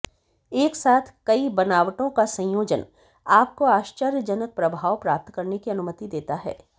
एक साथ कई बनावटों का संयोजन आपको आश्चर्यजनक प्रभाव प्राप्त करने की अनुमति देता है